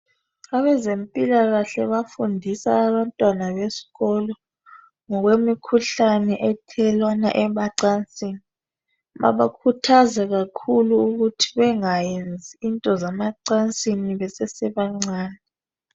Abezempilakahle bafundisa abantwana besikolo ngokwemikhuhlane ethelelwana emacansini babakhuthaza kakhulu ukuthi bengayenzi into zemacansini besasebancane.